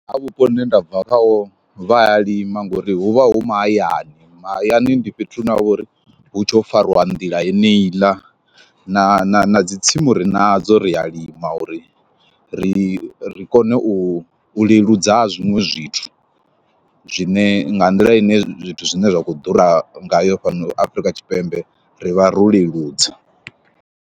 Kha vhupo hune nda bva kha ho vha ya lima ngori huvha hu ma hayani, ma hayani ndi fhethu hune havhori hutshe ho fariwa nḓila yeneyiḽa, na na na dzi tsimu ri nadzo ri a lima uri ri ri kone u u leludza ha zwiṅwe zwithu, zwine nga nḓila ine zwithu zwine zwa kho ḓura ngayo fhano Afrika Tshipembe ri vha ro leludza.